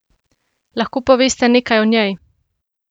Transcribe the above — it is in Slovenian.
Lahko poveste nekaj o njej?